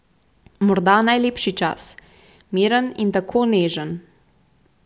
Morda najlepši čas, miren in tako nežen ...